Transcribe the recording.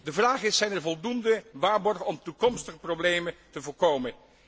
De vraag is zijn er voldoende waarborgen om toekomstige problemen te voorkomen?